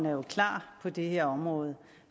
er klar på det her område